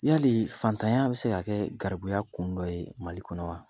Yali fantanya bi se ka kɛ garibuya kun dɔ ye Mali kɔnɔ wa?